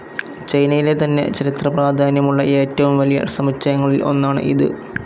ചൈനയിലെ തന്നെ ചരിത്രപ്രാധാന്യമുള്ള ഏറ്റവും വലിയ സമുച്ചയങ്ങളിൽ ഒന്നാണ് ഇത്.